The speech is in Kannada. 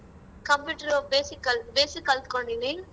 Computer ಉ basic basic ಕಲ್ತ್ಕಂಡಿನಿ.